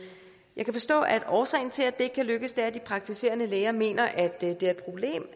jeg kan forstå at årsagen til at det ikke kan lykkes er at de praktiserende læger mener at det